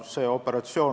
Siin ei olegi mingit seost.